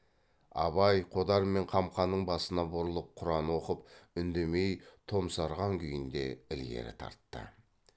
абай қодар мен қамқаның басына бұрылып құран оқып үндемей томсарған күйінде ілгері тартты